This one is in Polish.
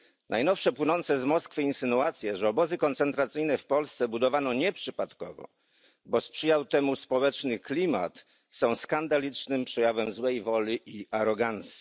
Najnowsze płynące z Moskwy insynuacje, że obozy koncentracyjne w Polsce budowano nieprzypadkowo, lecz dlatego że sprzyjał temu społeczny klimat, są skandalicznym przejawem złej woli i arogancji.